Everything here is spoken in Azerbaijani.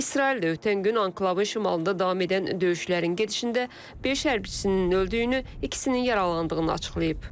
İsrail də ötən gün anklavın şimalında davam edən döyüşlərin gedişində beş hərbçisinin öldüyünü, ikisinin yaralandığını açıqlayıb.